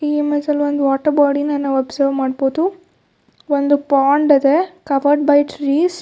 ಈ ಇಮೇಜ್ ಅಲ್ಲಿ ಒಂದು ವಾಟರ್ ಬಾಡಿನ ಒಬ್ಸರ್ವ್ ಮಾಡಬಹುದು ಒಂದು ಪೌಂಡ್ ಇದೆ ಕವರ್ಡ್ ಬ್ಯಾ ಟ್ರೀಸ್ .